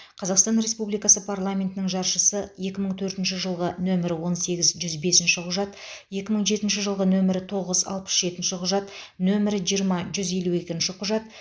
қазақстан республикасы парламентінің жаршысы екі мың төртінші жылғы нөмірі он сегіз жүз бесінші құжат екі мың жетінші жылғы нөмірі тоғыз алпыс жетінші құжат нөмірі жиырма жүз елу екінші құжат